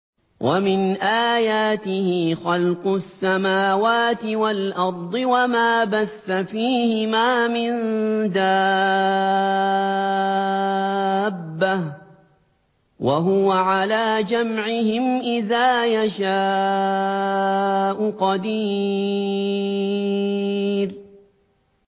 وَمِنْ آيَاتِهِ خَلْقُ السَّمَاوَاتِ وَالْأَرْضِ وَمَا بَثَّ فِيهِمَا مِن دَابَّةٍ ۚ وَهُوَ عَلَىٰ جَمْعِهِمْ إِذَا يَشَاءُ قَدِيرٌ